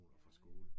Ja ja